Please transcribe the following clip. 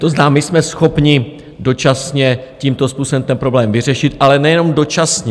To znamená, my jsme schopni dočasně tímto způsobem ten problém vyřešit, ale nejenom dočasně.